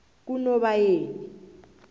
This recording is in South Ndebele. kunobayeni